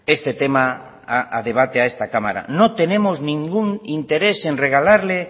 este tema a debate a esta cámara no tenemos ningún interés en regalarle